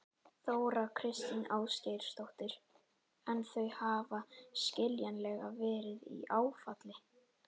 Þóra Kristín Ásgeirsdóttir: En þau hafa skiljanlega verið í áfalli?